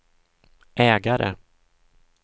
ägare